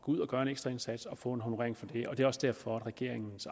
ud og gøre en ekstra indsats og få en honorering for det og det er også derfor at regeringen